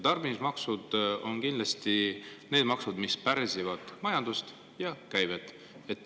Tarbimismaksud on kindlasti need maksud, mis pärsivad majandust ja käivet.